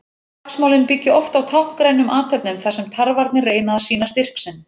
Slagsmálin byggja oft á táknrænum athöfnum þar sem tarfarnir reyna að sýna styrk sinn.